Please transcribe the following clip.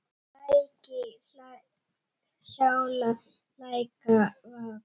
Lækir hjala, leika, vaka.